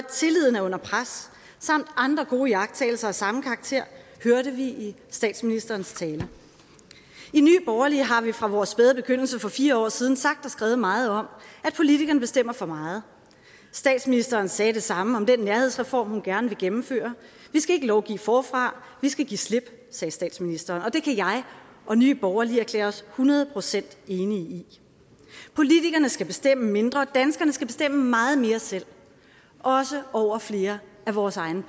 tilliden er under pres samt andre gode iagttagelser af samme karakter hørte vi i statsministerens tale i nye borgerlige har vi fra vores spæde begyndelse for fire år siden sagt og skrevet meget om at politikerne bestemmer for meget statsministeren sagde det samme om den nærhedsreform hun gerne vil gennemføre vi skal ikke lovgive forfra vi skal give slip sagde statsministeren og det kan jeg og nye borgerlige erklære os hundrede procent enige i politikerne skal bestemme mindre og danskerne skal bestemme meget mere selv også over flere af vores egne